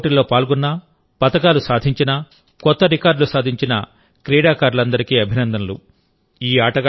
ఈ క్రీడా పోటీల్లో పాల్గొన్న పతకాలు సాధించిన కొత్త రికార్డులు సాధించిన క్రీడాకారులందరికీ అభినందనలు